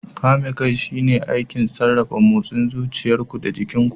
Kame kai shine aikin sarrafa motsin zuciyar ku da jikin ku.